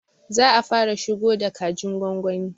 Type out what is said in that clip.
Za a fara shigo da kajin gwagwani